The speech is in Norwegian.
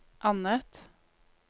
annet